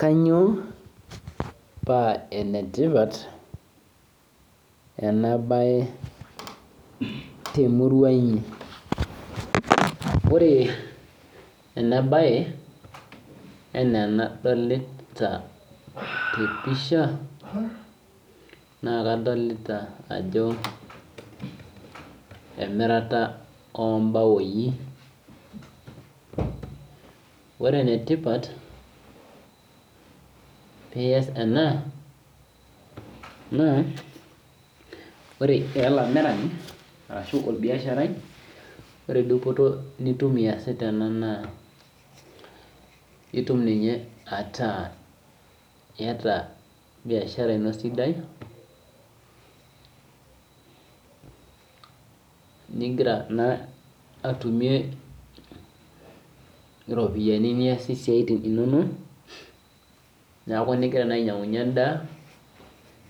kainyio paa ene tipat ena mbae temurua inyi ore ena mbae ena enadolita tee mpisha naa kadolita Ajo emiritaa oo baoi ore enetipat peas ena naa ore era olamirani arashu orbiasharai ore dupoto nitum easita enaa naa etum ataa biashara eno sidai nigira atunie eropiani niasie esiatin enono nigira naaji ainyangunye endaa